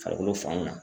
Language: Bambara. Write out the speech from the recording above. Farikolo fan mun na